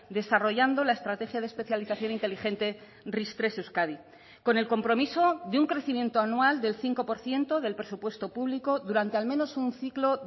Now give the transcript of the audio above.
desarrollando la estrategia de especialización inteligente ris tres euskadi con el compromiso de un crecimiento anual del cinco por ciento del presupuesto público durante al menos un ciclo